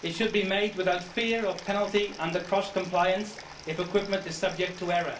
It should be made without fear of penalty under cross compliance if equipment is subject to error.